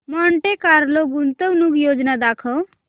Monte Carlo गुंतवणूक योजना दाखव